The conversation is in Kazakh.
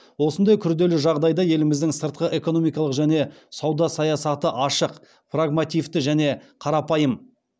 осындай күрделі жағдайда еліміздің сыртқы экономикалық және сауда саясаты ашық прагмативті және қарапайым